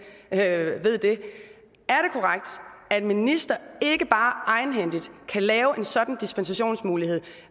ikke ved det at en minister ikke bare egenhændigt kan lave en sådan dispensationsmulighed